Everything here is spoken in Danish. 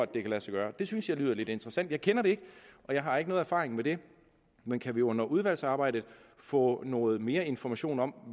det kan lade sig gøre det synes jeg lyder lidt interessant jeg kender det ikke og jeg har ikke nogen erfaring med det men kan vi under udvalgsarbejdet få noget mere information om